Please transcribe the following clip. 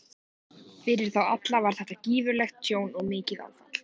Fyrir þá alla var þetta gífurlegt tjón og mikið áfall.